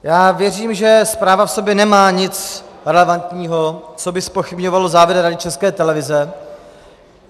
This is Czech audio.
Já věřím, že zpráva v sobě nemá nic relevantního, co by zpochybňovalo závěry Rady České televize.